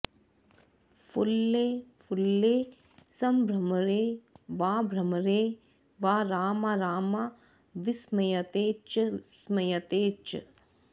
फुल्ले फुल्ले सम्भ्रमरे वाभ्रमरे वा रामा रामा विस्मयते च स्मयते च